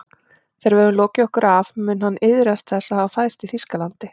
Þegar við höfum lokið okkur af mun hann iðrast þess að hafa fæðst í Þýskalandi